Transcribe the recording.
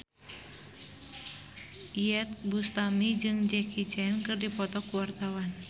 Iyeth Bustami jeung Jackie Chan keur dipoto ku wartawan